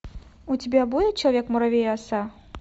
у тебя будет человек муравей и оса